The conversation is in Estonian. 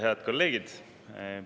Head kolleegid!